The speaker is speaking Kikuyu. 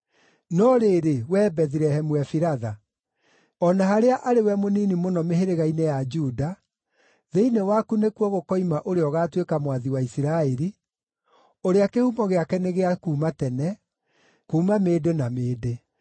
“No rĩrĩ, wee Bethilehemu Efiratha, o na harĩa arĩ we mũnini mũno mĩhĩrĩga-inĩ ya Juda, thĩinĩ waku nĩkuo gũkoima ũrĩa ũgaatuĩka mwathi wa Isiraeli, ũrĩa kĩhumo gĩake nĩ gĩa kuuma tene, kuuma mĩndĩ na mĩndĩ.”